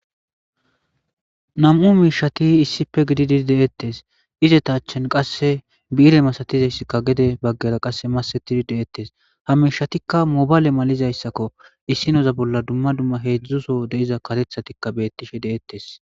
Nam''u miishshati issippe dettes,izetta achan qase bii'irre massattiya gede baggara qase masettidi detees,ha miishshati moballe masattiza miishshakko,issineza bolla dumma dumma hezhzhu bollara diza kareththa bettishe detees.